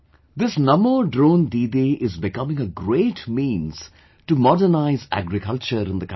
This Namo Drone Didi is becoming a great means to modernize agriculture in the country